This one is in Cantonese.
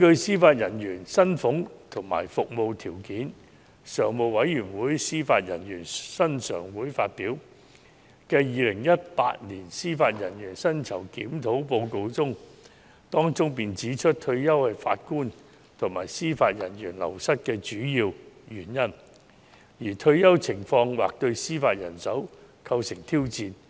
司法人員薪俸及服務條件常務委員會發表的《二零一八年司法人員薪酬檢討報告》指出："退休是法官及司法人員流失的主要原因，而退休情況或對司法人手構成挑戰。